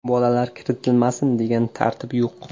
Bolalar kiritilmasin, degan tartib yo‘q.